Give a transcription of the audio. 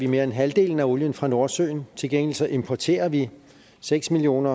mere end halvdelen af olien fra nordsøen til gengæld så importerer vi seks million